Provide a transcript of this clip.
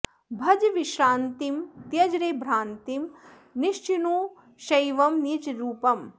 भज विश्रान्तिं त्यज रे भ्रान्तिं निश्चिनु शैवं निज रूपम्